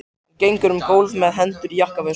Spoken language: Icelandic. Hann gengur um gólf með hendur í jakkavösunum.